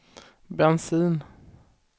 bensin